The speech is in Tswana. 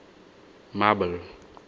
marble